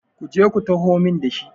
ku je ku taho min da shi!